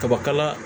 Kabakala